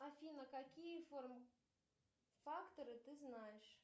афина какие форм факторы ты знаешь